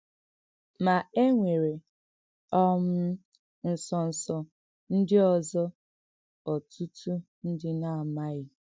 Mà e nwèrè um ǹsọ́nsọ̀ ǹdí ọ̀zò ọ̀tùtù ǹdí nà-àmàghì.